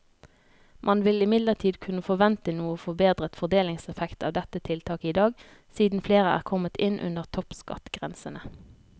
Man vil imidlertid kunne forvente noe forbedret fordelingseffekt av dette tiltaket i dag, siden flere er kommet inn under toppskattgrensene.